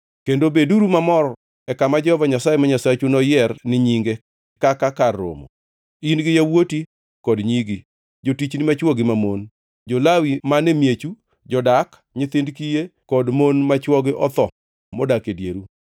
Kendo beduru mamor e kama Jehova Nyasaye ma Nyasachu noyier ni Nyinge kaka kar romo, in gi yawuoti kod nyigi, jotichni machwo gi mamon, jo-Lawi man e miechu, jodak, nyithind kiye, kod mon ma chwogi otho modak e dieru.